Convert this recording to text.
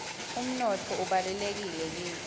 umnotfo ubalulekile kitsi